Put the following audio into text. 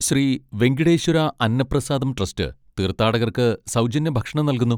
Shri Venkateswara Annaprasadam trust തീർഥാടകർക്ക് സൗജന്യ ഭക്ഷണം നൽകുന്നു.